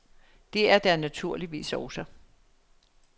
Det er der naturligvis også.